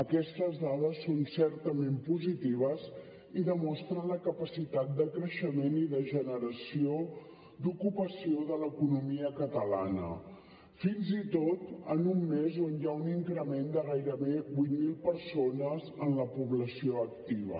aquestes dades són certament positives i demostren la capacitat de creixement i de generació d’ocupació de l’economia catalana fins i tot en un mes on hi ha un increment de gairebé vuit mil persones en la població activa